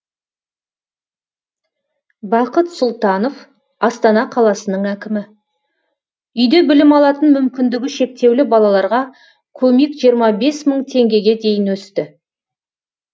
бақыт сұлтанов астана қаласының әкімі үйде білім алатын мүмкіндігі шектеулі балаларға көмек жиырма бес мың теңгеге дейін өсті